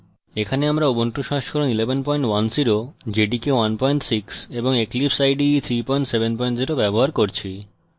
এখানে আমরা